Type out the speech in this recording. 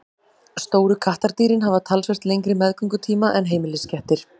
Stóru kattardýrin hafa talsvert lengri meðgöngutíma en heimiliskettir.